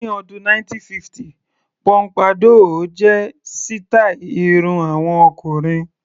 Ní ọdún 1950 póḿpádọ́ọ̀ jẹ́ sítàì irun àwọn ọkùnrin.